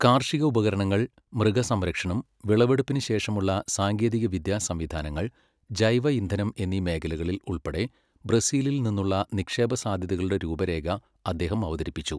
കാർഷി ക ഉപകരണങ്ങൾ , മൃഗസംരക്ഷണം, വിളവെടുപ്പിന് ശേഷമുള്ള സാങ്കേതികവിദ്യാ സംവിധാനങ്ങൾ , ജൈവ ഇന്ധനം എന്നീ മേഖലകളിൽ ഉൾപ്പെടെ ബ്രസീലിൽ നിന്നുള്ള നിക്ഷേപ സാധ്യതകളുടെ രൂപരേഖ അദ്ദേഹം അവതരിപ്പിച്ചു.